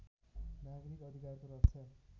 नागरिक अधिकारको रक्षा